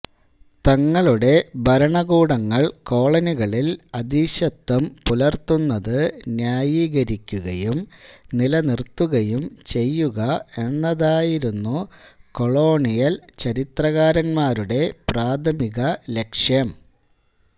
തങ്ങളുടെ ഭരണകൂടങ്ങൾ കോളനികളിൽ അധീശത്വം പുലർത്തുന്നതു് ന്യായീകരിക്കുകയും നിലനിർത്തുകയും ചെയ്യുക എന്നതായിരുന്നു കൊളോണിയൽ ചരിത്രകാരന്മാരുടെ പ്രാഥമികലക്ഷ്യം